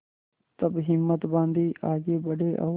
तब हिम्मत बॉँधी आगे बड़े और